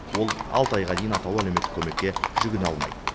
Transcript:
ол алты айға дейін атаулы әлеуметтік көмекке жүгіне алмайды